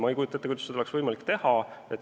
Ma ei kujuta ette, kuidas seda oleks võimalik teha.